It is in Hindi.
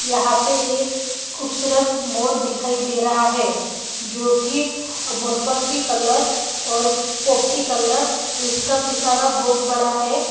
यहाँ पे एक खूबसूरत मोर दिखाई दे रहा है जो कि मोरपंखी कलर और पोप्टी कलर जिसका पिसारा बहुत बड़ा हैं ।